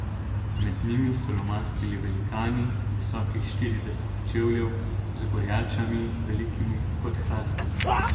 Med njimi so lomastili velikani, visoki štirideset čevljev, z gorjačami, velikimi kot hrasti.